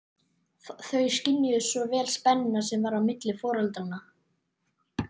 Þau skynjuðu svo vel spennuna sem var á milli foreldranna.